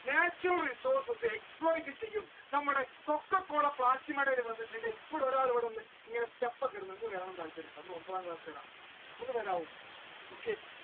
natural resources exploit ചെയ്യും നമ്മുടെ coca-cola ഇവിടെ ഒരാൾ വന്ന്